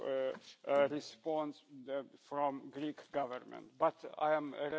procedures needed to move freely in the European Union.